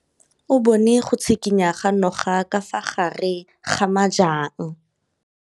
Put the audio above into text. O bone go tshikinya ga noga ka fa gare ga majang.